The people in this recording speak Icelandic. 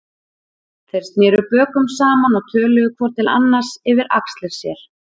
Þeir sneru bökum saman og töluðu hvor til annars yfir axlir sér.